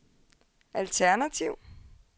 alternativ